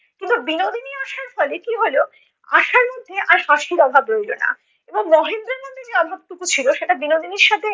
কিন্তু বিনোদিনী আসার ফলে কী হলো, আশার মধ্যে আর হাসির অভাব রইলো না এবং মহেন্দ্রের মধ্যে যে অভাবটুকু ছিলো সেটা বিনোদিনীর সাথে